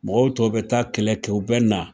Mɔgɔw tɔw bɛ taa kɛlɛ kɛ u bɛ na